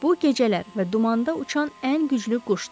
Bu gecələr və dumanda uçan ən güclü quşdur.